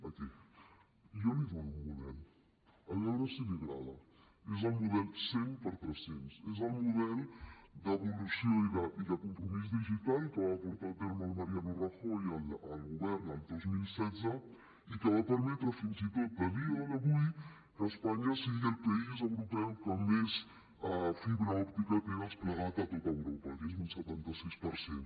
aquí jo li dono un model a veure si li agrada és el model 100x300 és el model d’evolució i de compromís digital que va portar a terme el mariano rajoy al govern el dos mil setze i que va permetre fins i tot a dia d’avui que espanya sigui el país europeu que més fibra òptica té desplegada a tot europa que és un setanta sis per cent